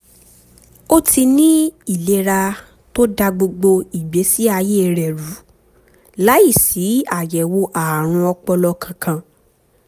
ó ti ní ìlera tó da gbogbo ìgbésí ayé rẹ̀ rú láìsí àyẹ̀wò ààrùn ọpọlọ kankan